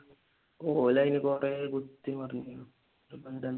ഓല് അതിനുകുറെ കുത്തി മറിഞ്ഞു എന്നിട്ടിപ്പോ എന്തായി